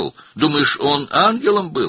Elə bilirsən o mələk idi?